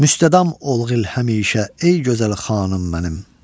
Müstədam olgil həmişə, ey gözəl xanım mənim.